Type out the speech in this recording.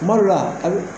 Kuma dɔw la a bi